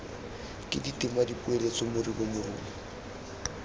ke ditema dipoeletso moribo morumo